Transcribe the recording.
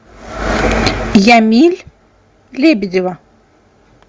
ямиль лебедева